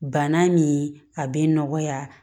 Bana ni a bɛ nɔgɔya